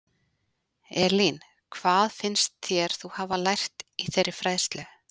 Elín: Hvað finnst þér þú hafa lært í þeirri fræðslu?